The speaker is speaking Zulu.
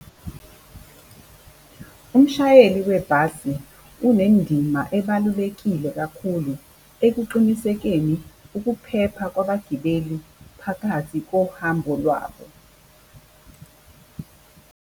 Umshayeli webhasi kunendima ebalulekile kakhulu ekuqinisekeni ukuphepha kwabagibeli phakathi kohambo lwabo .